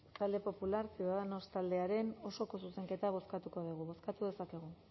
talde popular ciudadanos taldearen osoko zuzenketa bozkatu dezakegu bozkatu dezakegu